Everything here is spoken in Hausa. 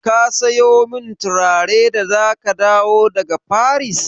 Ka sayo min turare da za ka dawo daga Faris?